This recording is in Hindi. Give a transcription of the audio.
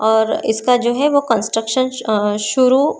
और इसका जो है वो कंस्ट्रक्शन श अ शुरू--